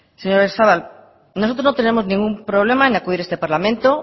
señor oyarzabal nosotros no tenemos ningún problema en acudir a este parlamento